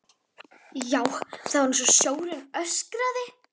Já, það var einsog sjórinn öskraði.